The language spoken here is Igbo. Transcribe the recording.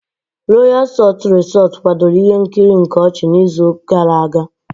Royal salt Resort kwadoro ihe nkiri nke ochi n'izu gara aga.